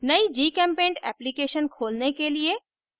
नयी gchempaint application खोलने के लिए